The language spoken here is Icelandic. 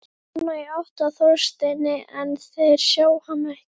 Nonna, í átt að Þorsteini, en þeir sjá hana ekki.